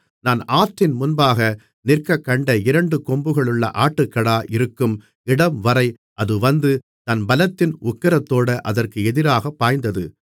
நான் ஆற்றின் முன்பாக நிற்கக்கண்ட இரண்டு கொம்புகளுள்ள ஆட்டுக்கடா இருக்கும் இடம்வரை அது வந்து தன் பலத்தின் உக்கிரத்தோடே அதற்கு எதிராகப் பாய்ந்தது